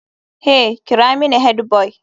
Hey!kira mini headboy.